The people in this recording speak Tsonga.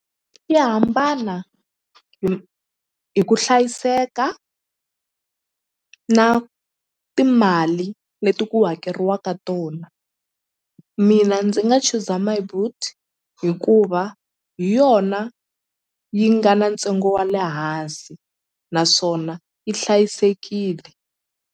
Ya hambana hi ku hlayiseka na timali leti ku hakeriwaka tona mina ndzi nga chuza My Boet hikuva hi yona yi nga na ntsengo wa le hansi naswona yi hlayisekile.